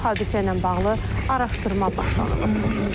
Hadisə ilə bağlı araşdırma başlanılıb.